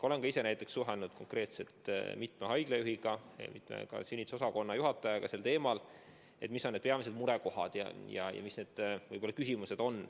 Olen ka ise suhelnud konkreetselt mitme haiglajuhiga ja ka sünnitusosakonna juhatajaga teemal, mis on need peamised murekohad, mis on need küsimused.